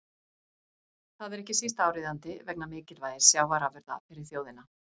Það er ekki síst áríðandi vegna mikilvægis sjávarafurða fyrir þjóðina.